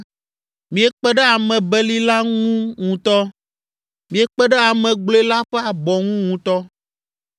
“Miekpe ɖe ame beli la ŋu ŋutɔ! Miekpe ɖe ame gblɔe la ƒe abɔ ŋu ŋutɔ!